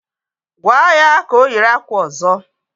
Gwaa ya ka o yiri akwa ọzọ!